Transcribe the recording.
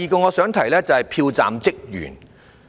第二點有關票站職員。